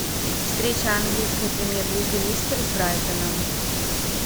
встреча английской премьер лиги лестер с брайтоном